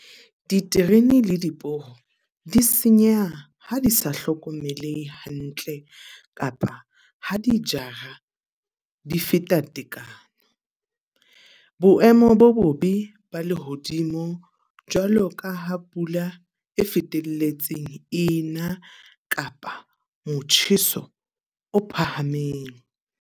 Diterene le diporo, di senyeha ha di sa hlokomele hantle kapa ha di jara di feta tekano. Boemo bo bobe ba lehodimo jwalo ka ha pula e fetelletseng ena, kapa motjheso o phahameng.